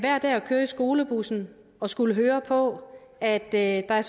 køre i skolebussen og skulle høre på at der er